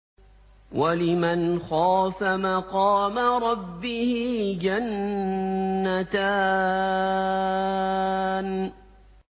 وَلِمَنْ خَافَ مَقَامَ رَبِّهِ جَنَّتَانِ